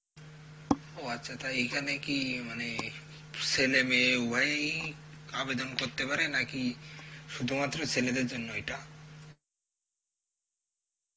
ও আচ্ছা তাই এখানে কি মানে ছেলেমেয়ে উভয়ই কি আবেদন করতে পারে নাকি শুধুমাত্র ছেলেদের জন্য এটা?